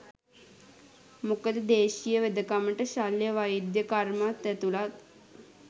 මොකද දේශීය වෙදකමට ශල්‍ය වෛද්‍ය කර්මත් ඇතුළත්.